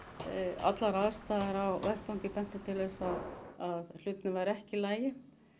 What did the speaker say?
allar aðstæður á vettvangi bentu til þess að hlutirnir væru ekki í lagi